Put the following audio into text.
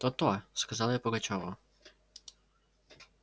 то-то сказал я пугачёву